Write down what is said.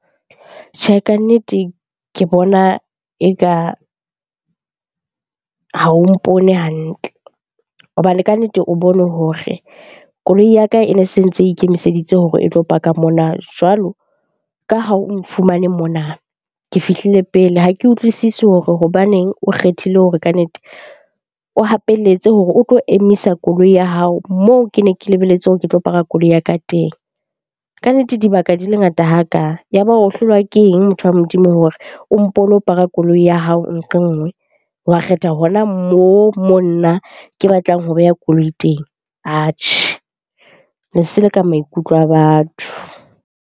Tjhe, kannete ke bona eka ha o mpone hantle hobane kannete o bone hore koloi ya ka e ne se ntse e ikemiseditse hore e tlo park-a mona. Jwalo ka ha o nfumane mona, ke fihlile pele. Ha ke utlwisisi hore hobaneng o kgethile hore kannete o hapelletse hore o tlo emisa koloi ya hao moo ke ne ke lebelletse hore ke tlo paka koloi ya ka teng. Kannete dibaka di le ngata ha ka, ya ba o hlolwa ke eng motho wa Modimo hore o mpo o lo park-a koloi ya hao nqe nngwe? Wa kgetha hona moo mo nna ke batlang ho beha koloi teng. Atjhe, le seleka maikutlo a batho.